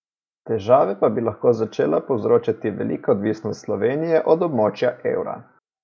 Težave pa bi lahko začela povzročati velika odvisnost Slovenije od območja evra.